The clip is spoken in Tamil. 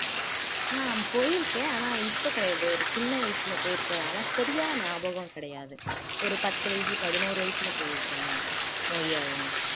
நான் போயிருக்கேன் ஆனா இப்ப கிடையாது ஒரு சின்ன வயசுல போயிருக்கேன் அதனால சரியான ஞாபகம் கிடையாது கிடையாது ஒரு பத்து வயசு பதினோரு வயசுல போயிருக்கேன் மொழியாழினி